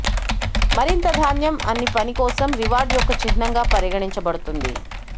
మరింత ధాన్యం అన్ని పని కోసం రివార్డ్ యొక్క చిహ్నంగా పరిగణించబడుతుంది